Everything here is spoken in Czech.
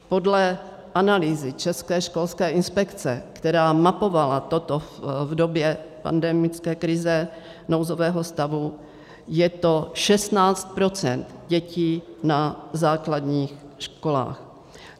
Podle analýzy České školské inspekce, která mapovala toto v době pandemické krize, nouzového stavu, je to 16 % dětí na základních školách.